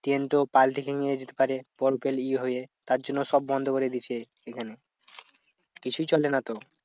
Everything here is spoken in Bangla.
ট্রেন তো পাল্টি হয়ে যেতে পারে বরফে ই হয়ে তার জন্য সব বন্ধ করে দিয়েছে এখানে। কিছুই চলে না তো।